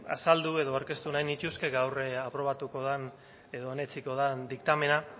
azaldu edo aurkeztu nahi nituzke gaur aprobatuko den edo onetsiko den diktamena